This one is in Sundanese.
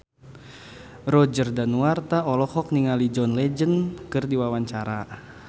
Roger Danuarta olohok ningali John Legend keur diwawancara